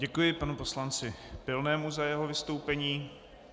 Děkuji panu poslanci Pilnému za jeho vystoupení.